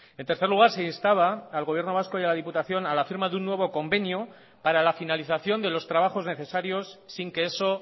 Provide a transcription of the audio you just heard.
en tercer lugar se instaba al gobierno vasco y a la diputación a la firma de un nuevo convenio para la finalización de los trabajos necesarios sin que eso